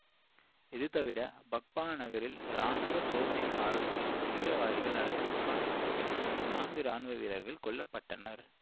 இது தவிர பக்பா நகரில் ராணுவ சோதனை சாவடி மீது தீவிரவாதிகள் நடத்திய துப்பாக்கி சூட்டில் நான்கு இராணுவ வீரர்கள் கொல்ல பட்டனர்